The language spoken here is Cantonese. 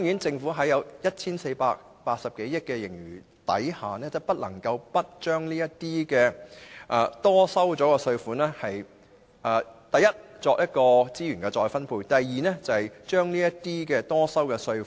政府坐擁 1,480 多億元的盈餘，不能不把多收的稅款用作：第一，資源再分配；第二，退給納稅人。